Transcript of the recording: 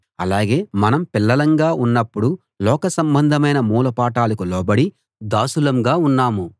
అలాగే మనం పిల్లలంగా ఉన్నప్పుడు లోక సంబంధమైన మూల పాఠాలకు లోబడి దాసులంగా ఉన్నాము